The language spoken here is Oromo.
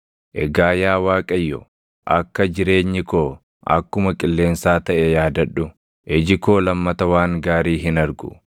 Egaa yaa Waaqayyo, akka jireenyi koo akkuma qilleensaa taʼe yaadadhu; iji koo lammata waan gaarii hin argu.